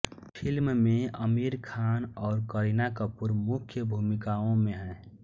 film में आमिर खान और करीना कपूर मुख्य भूमिकाओं में हैं